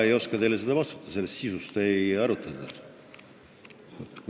Ma ei oska teile seda vastata, sisu üle ei arutletud.